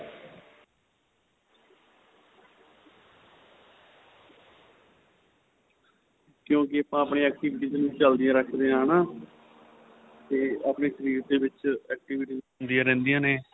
ਕਿਉਂਕਿ ਆਪਾ ਆਪਣੀਆ activities ਨੂੰ ਚੱਲਦੀਆ ਰੱਖਦੇ ਆਂ ਹੈਨਾ ਤੇ ਆਪਣੇਂ ਸ਼ਰੀਰ ਦੇ ਵਿੱਚ activities ਹੁੰਦੀਆ ਰਹਿੰਦੀਆ ਨੇ